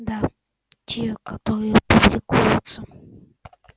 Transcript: да те которые публикуются